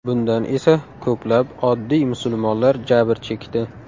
Bundan esa ko‘plab oddiy musulmonlar jabr chekdi.